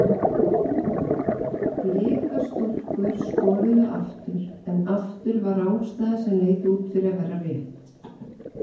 Blika stúlkur skoruðu aftur en aftur var rangstæða sem leit út fyrir að vera rétt.